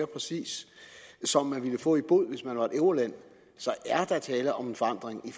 præcis som man ville få i bod hvis man var et euroland så er der tale om en forandring